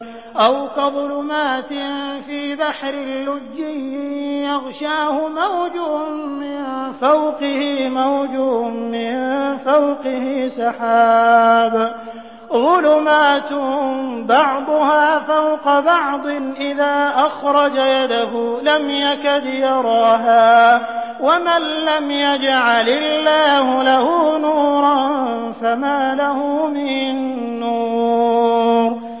أَوْ كَظُلُمَاتٍ فِي بَحْرٍ لُّجِّيٍّ يَغْشَاهُ مَوْجٌ مِّن فَوْقِهِ مَوْجٌ مِّن فَوْقِهِ سَحَابٌ ۚ ظُلُمَاتٌ بَعْضُهَا فَوْقَ بَعْضٍ إِذَا أَخْرَجَ يَدَهُ لَمْ يَكَدْ يَرَاهَا ۗ وَمَن لَّمْ يَجْعَلِ اللَّهُ لَهُ نُورًا فَمَا لَهُ مِن نُّورٍ